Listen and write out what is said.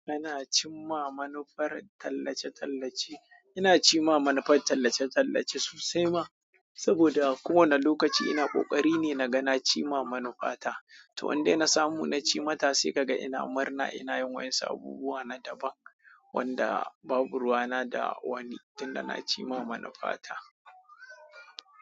Kana cimama manufar tallace-tallace, ina cimama manufar tallace-tallace sosai ma, saboda a kowane lokaci ina ƙoƙari ne na ga na cimama manufa ta. To indai na samu na ci mata sai ka ga ina murna ina yin wasu abubuwa na daban wanda babu ruwana da wani tunda na cimama manufa ta.